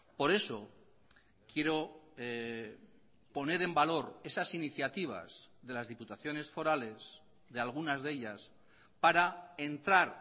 por eso quiero poner en valor esas iniciativas de las diputaciones forales de algunas de ellas para entrar